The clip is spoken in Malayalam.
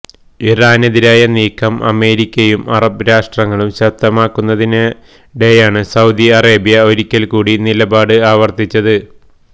ഇറാനെതിരായ നീക്കം അമേരിക്കയും അറബ് രാഷ്ട്രങ്ങളും ശക്തമാക്കുന്നതിനിടെയാണ് സൌദി അറേബ്യ ഒരിക്കല് കൂടി നിലപാട് ആവര്ത്തിച്ചത്